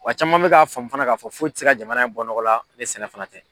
Wa caman me k'a faamu fana k'a fɔ foyi te se ka jamana in bɔ nɔgɔ la ne sɛnɛ fana tɛ